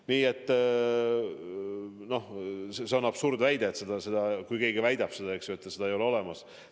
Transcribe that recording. Nii et see on absurdväide, et kui keegi ütleb, et seda haigust ei ole olemas.